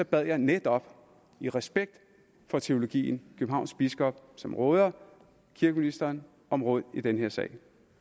bad jeg netop i respekt for teologien københavns biskop som råder kirkeministeren om råd i den her sag